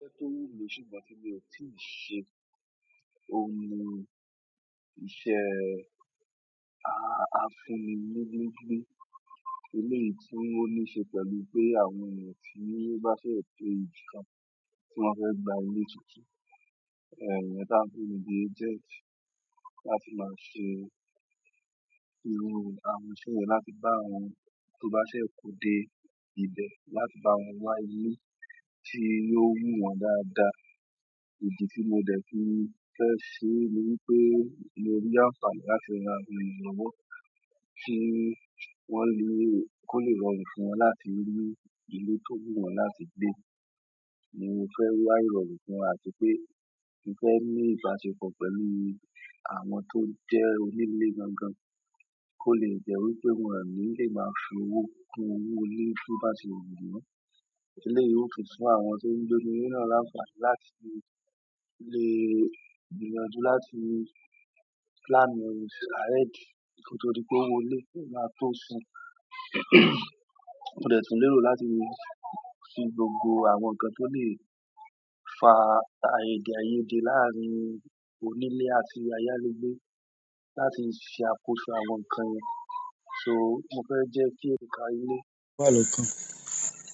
Tóri mo sí mà tí mi ò tíì ṣe, oun ni ìṣe, a fún mi ní ilé gbé. Éleyìí tí wọ́n ní ṣe pẹ̀lú pé àwọn ènìyàn tí wọ́n bá ṣe ètò nǹkan tí wọ́n fẹ́ gba ilé tuntun, ẹ̀, ìyẹn tá ń pè ní bíi agent láti máa ṣe iru àwọn iṣẹ́ yẹ̀n láti bá wọn, tó bá ṣe kó dé ibẹ̀, láti bá wọn wá ilé tí yóò wù wọ́n dáadáa. Ìdí tí mo dẹ̀ fi fẹ́ ṣe ní wípé mo rí àǹfààní láti ra éeyan lọ́wọ́ kí wọ́n lè, kó lè rọrùn fún wọn láti rí ilé tó wù wọ́n láti gbé. Mo fẹ́ wá ìrọrùn fún wọn àti pé mo fẹ́ ní ìbáṣepọ̀ pẹ̀lú àwọn tó jẹ́ onílé gan gan, kó lè jẹ́ wípé wọ́n ní lè máa fi owó kún owó ilé tí wọ́n bá ṣe wù wọ́n. Éleyi yóò tun fún àwọn tó ń gbé ní inú ile náà láǹfààní láti le, gbìyànjú láti plan ahead. Ko to dí pé owó ilé o máa tó san. Mo dẹ̀ tún lérò láti fi gbogbo àwọn nǹkan tó lè fa ààyè ìdèáyèdè láàrin onílé àti ayálégbé láti ṣe àkóso àwọn nǹkan yẹn. So mo fẹ́ jẹ́ kí ẹ̀ka ilé kó wà lọ́kàn.